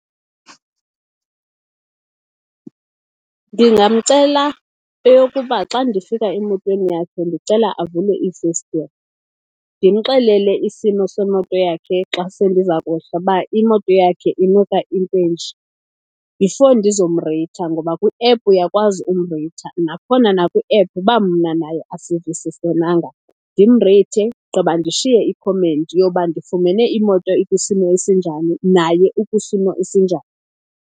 Ndingamcela eyokuba xa ndifika emotweni yakhe ndicela avule iifestire. Ndimxelele isimo semoto yakhe xa se ndiza kwehla uba imoto yakhe inuka intwenje before ndizomreytha, ngoba kwiephu uyakwazi umreytha. Nakhona nakwiephu uba mna naye asivisisenanga, ndimreythe gqiba ndishiye ikhomenti yoba ndifumene imoto ikwisimo esinjani naye ukwisimo esinjani.